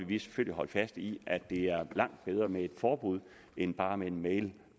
vi selvfølgelig holde fast i at det er langt bedre med et forbud end bare en mail